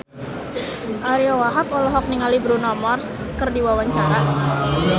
Ariyo Wahab olohok ningali Bruno Mars keur diwawancara